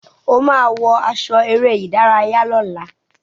O máa wọ aṣọ eré-ìdárayá lọ́la.